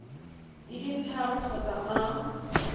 di le tharo kgotsa a